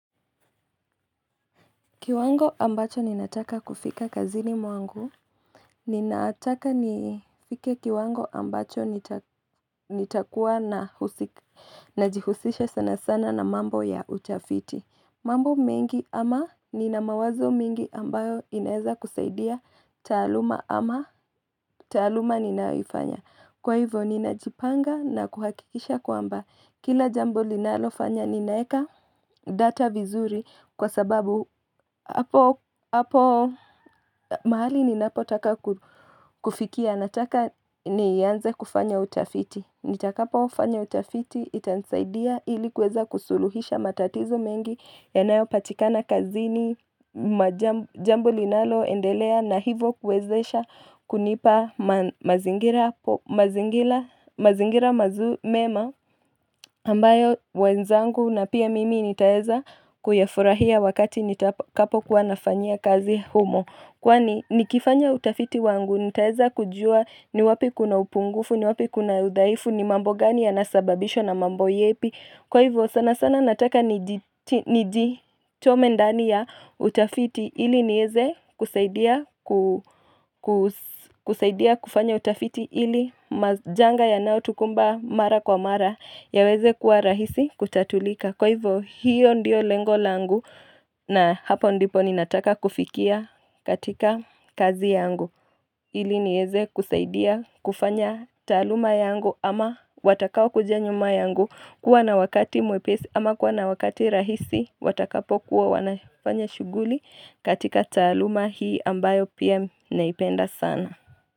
Kiwango ambacho ninataka kufika kazini mwangu. Ninataka nifike kiwango ambacho nitakuwa najihusisha sana sana na mambo ya utafiti. Mambo mengi ama ninamawazo mengi ambayo inaweza kusaidia taaluma ama tasluma ninaifanya. Kwa hivyo ninajipanga na kuhakikisha kwamba kila jambo linalo fanya ninaweka data vizuri kwa sababu mahali ninapo taka kufikia na taka nianze kufanya utafiti. Nitakapofanya utafiti itanisaidia ili kuweza kusuluhisha matatizo mengi yanayo patikana kazini jambo linalo endelea na hivyo kuwezesha kunipa mazingira mazingira mazingira mema. Ambayo wenzangu na pia mimi nitaweza kuyafurahia wakati nitakapo kuwa nafanyia kazi humo. Kwani nikifanya utafiti wangu nitaweza kujua ni wapi kuna upungufu, ni wapi kuna udhaifu, ni mambo gani yanasababishwa na mambo yipi. Kwa hivyo sana sana nataka ni nijitume ndani ya utafiti ili niweze kusaidia ku kusaidia kufanya utafiti ili majanga yanayo tukumba mara kwa mara ya weze kuwa rahisi kutatulika. Kwa hivyo hiyo ndiyo lengo langu na hapo ndipo ninataka kufikia katika kazi yangu. Ili niweze kusaidia kufanya taaluma yangu ama watakao kuja nyuma yangu kuwa na wakati mwepesi ama kuwa na wakati rahisi watakapo kuwa wanafanya shughuli katika taaluma hii ambayo pia naipenda sana.